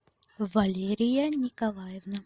валерия николаевна